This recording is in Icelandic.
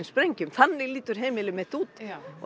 sprengjum þannig lítur heimili mitt út